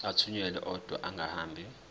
athunyelwa odwa angahambi